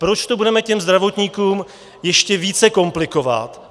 Proč to budeme těm zdravotníkům ještě více komplikovat?